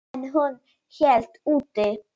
En hún hélt út.